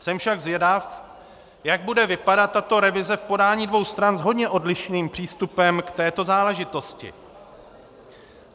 Jsem však zvědav, jak bude vypadat tato revize v podání dvou stran s hodně odlišným přístupem k této záležitosti.